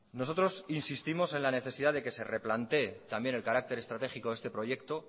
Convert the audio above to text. nosotros insistimos en la necesidad de que se replantee también el carácter estratégico de este proyecto